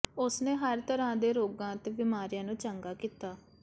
ਉਸਨੇ ਹਰ ਤਰ੍ਹਾਂ ਦੇ ਰੋਗਾਂ ਅਤੇ ਬਿਮਾਰੀਆਂ ਨੂੰ ਚੰਗਾ ਕੀਤਾ